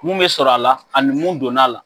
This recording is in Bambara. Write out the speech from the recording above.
Kun bi sɔrɔ a la ani mun donna la